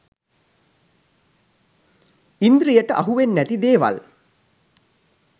ඉන්ද්‍රියට අහුවෙන්නැති දේවල්